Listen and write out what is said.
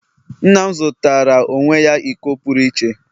nna m zụtara onwe ya iko pụrụ iche.